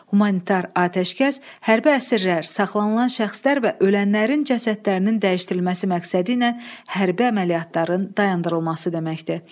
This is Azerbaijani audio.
Humanitar atəşkəs hərbi əsirlər, saxlanılan şəxslər və ölənlərin cəsədlərinin dəyişdirilməsi məqsədi ilə hərbi əməliyyatların dayandırılması deməkdir.